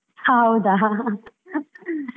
ಹೌದಾ .